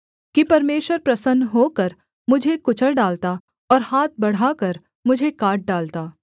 कि परमेश्वर प्रसन्न होकर मुझे कुचल डालता और हाथ बढ़ाकर मुझे काट डालता